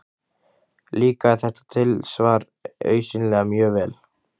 Líkaði þetta tilsvar augsýnilega mjög vel.